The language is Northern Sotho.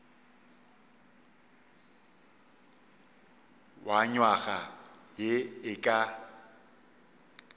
wa nywaga ye e ka